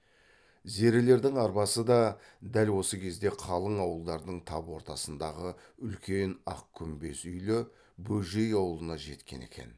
зерелердің арбасы да дәл осы кезде қалың ауылдардың тап ортасындағы үлкен ақ күмбез үйлі бөжей аулына жеткен екен